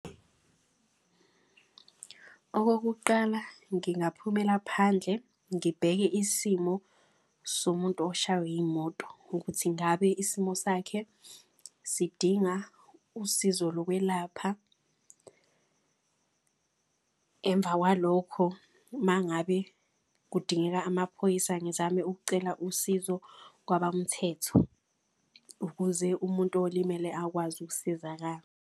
Okokuqala, ngingaphuthumela phandle ngibheke isimo somuntu oshaywe iyimoto. Ukuthi ngabe isimo sakhe sidinga usizo lokwelapha emva kwalokho. Ma ngabe kudingeka amaphoyisa ngizame ukucela usizo kwabamthetho. Ukuze umuntu olimele akwazi ukusizakala.